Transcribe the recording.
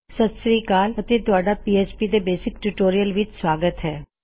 ਸਤ ਸ਼੍ਰੀ ਅਕਾਲ ਅਤੇ ਤੁਹਾਡਾ ਪੀਐਚਪੀ ਦੇ ਬੇਸਿਕ ਟਿਊਟੋਰਿਯਲ ਵਿੱਚ ਸਵਾਗਤ ਹੈ